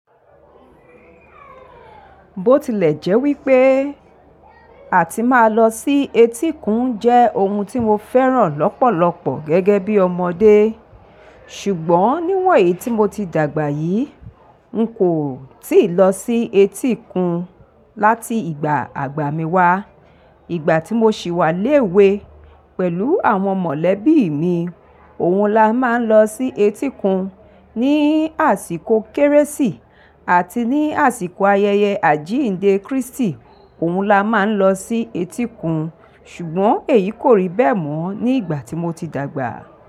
Bó tilẹ̀ jẹ́ wípé àti máa lọ sí etíkun jẹ́ ohun tí mo fẹ́ràn lọ́pọ̀lọpọ̀ gẹ́gẹ́ bí ọmọdé, ṣùgbọ́n níwọ̀ eyì tí mo ti dàgbà yìí, n kò tíì lọ sí etíkun láti ìgbà àgbà mi wá. Ìgbà tí mo ṣì wà léwe pẹ̀lú àwọn mọ̀lẹ́bí mi, òun la máa ń lọ sí etíkun ní àsìkò Kérésì ati ní àsìkọ̀ ayẹyẹ àjíǹde Kristi, òun la máa ń lọ sí etíkun, ṣùgbọ́n èyí kò rí bẹ́ẹ̀ mọ́ ní ìgbà tí mo ti dàgbà.